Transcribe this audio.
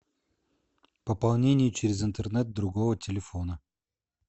пополнение через интернет другого телефона